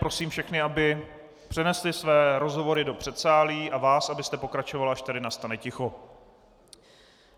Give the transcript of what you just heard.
Prosím všechny, aby přenesli své rozhovory do předsálí, a vás, abyste pokračovala, až tady nastane ticho.